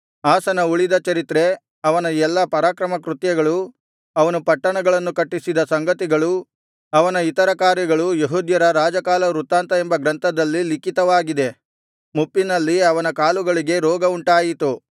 ಆಸನ ಉಳಿದ ಚರಿತ್ರೆ ಅವನ ಎಲ್ಲಾ ಪರಾಕ್ರಮಕೃತ್ಯಗಳು ಅವನು ಪಟ್ಟಣಗಳನ್ನು ಕಟ್ಟಿಸಿದ ಸಂಗತಿಗಳೂ ಅವನ ಇತರ ಕಾರ್ಯಗಳು ಯೆಹೂದ್ಯರ ರಾಜಕಾಲವೃತ್ತಾಂತ ಎಂಬ ಗ್ರಂಥದಲ್ಲಿ ಲಿಖಿತವಾಗಿದೆ ಮುಪ್ಪಿನಲ್ಲಿ ಅವನ ಕಾಲುಗಳಿಗೆ ರೋಗವುಂಟಾಯಿತು